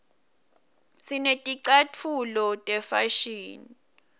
sineticatfulo tefashini